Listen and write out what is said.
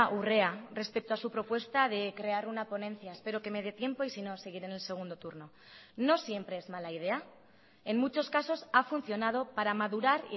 urrea respecto a su propuesta de crear una ponencia espero que me dé tiempo y sino seguiré en el segundo turno no siempre es mala idea en muchos casos ha funcionado para madurar